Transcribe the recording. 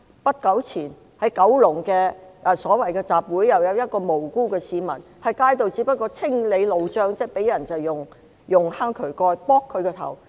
不久前，在九龍一個所謂集會期間，有一位無辜市民在街上清理路障時，遭人用渠蓋擊頭。